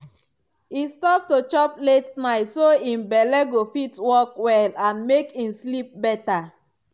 e stop to chop late night so im belle go fit work well and make im sleep better.